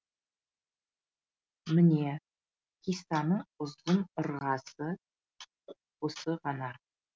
міне хиссаның ұзын ырғасы осы ғана